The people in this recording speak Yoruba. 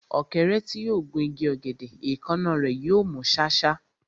Ọ̀kẹ́rẹ́ tí yóò gun igi ọ̀gẹ̀dẹ̀, èékánná rẹ̀ yóò mú ṣáṣá.